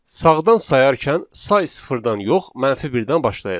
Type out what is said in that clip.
Sağdan sayarkən say sıfırdan yox, mənfi birdən başlayacaq.